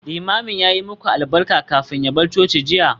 Limamin ya yi muku albarka kafin ya bar coci jiya?